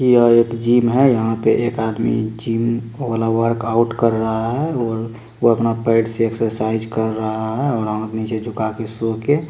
यह एक जिम है यहां पे एक आदमी जिम का वर्कआउट कर रहा है वो वो अपना पेट से एक्सरसाइज कर रहा है और नीचे झुका के सो के--